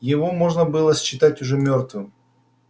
его можно было считать уже мёртвым